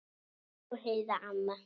Elsku Heiða amma.